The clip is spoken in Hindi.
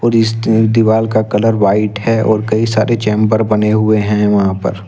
और इस दीवाल का कलर व्हाइट है और कई सारे चैंबर बने हुए हैं वहां पर।